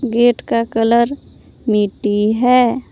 Gate का colour मिट्टी है।